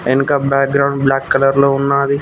వెనక background black colour లో ఉన్నది.